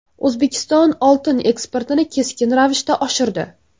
O‘zbekiston oltin eksportini keskin ravishda oshirdi.